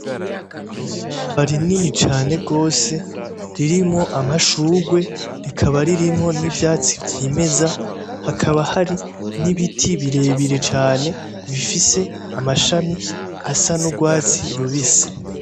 Ishamba rinini cane gose ririmwo amashurwe rikaba ririmwo n'ivyatsi vyimeza hakaba hari n'ibiti birebire cane bifise amashami asa n'urwatsi rubisi.